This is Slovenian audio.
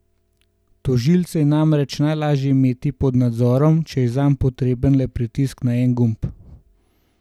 Tožilce je namreč najlažje imeti pod nadzorom, če je zanj potreben le pritisk na en gumb.